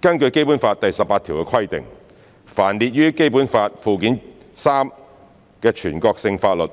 根據《基本法》第十八條的規定，凡列於《基本法》附件三之全國性法律，